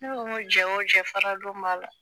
Ne ko n ko jɛ o jɛ faradon b'a la